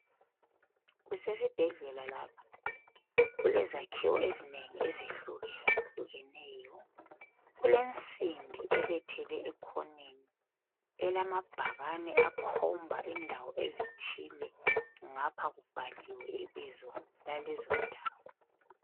Kusesibhedlela lapha kulezakhiwo ezinengi ezehlukehlukeneyo, kulensimbi ebethelwe ekhoneni elamabhakani akhomba indawo ezithile ngapha kubhaliwe ibizo lalezondawo.